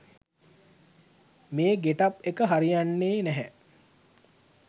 මේ ගෙටප් එක හරියන්නේ නැහැ